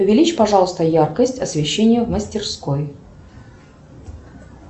увеличь пожалуйста яркость освещения в мастерской